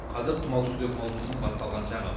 қазір тұмаусүзек маусымның басталған шағы